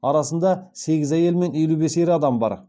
арасында сегіз әйел мен елу бес ер адам бар